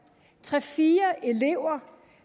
tre eller fire elever